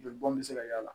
Joli bɔn bɛ se ka y'a la